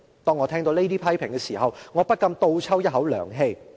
當我聽到這些批評時，我不禁倒抽一口涼氣。